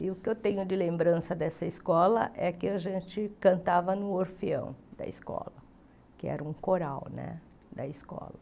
E o que eu tenho de lembrança dessa escola é que a gente cantava no orfeão da escola, que era um coral, né, da escola.